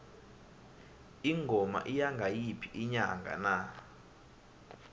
ingoma iya ngayiphi inyanga na